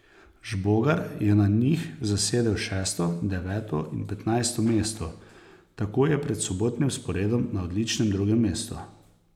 Žbogar je na njih zasedel šesto, deveto in petnajsto mesto, tako je pred sobotnim sporedom na odličnem drugem mestu.